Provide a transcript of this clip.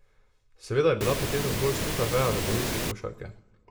Seveda je bila poteza zgolj suha veja v evoluciji košarke.